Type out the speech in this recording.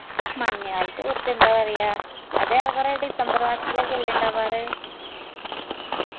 മണഞ്ഞകാലത്ത് കുറച്ച് എന്താപറയാ അത് ഏറെ കൊറേ december മാസത്തിലൊക്കെയെല്ലേ ഇണ്ടാവർ